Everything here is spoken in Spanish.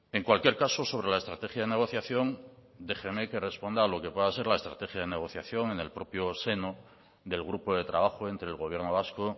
en cualquier caso sobre la estrategia de negociación déjeme que responda a lo que pueda ser la estrategia de negociación en el propio seno del grupo de trabajo entre el gobierno vasco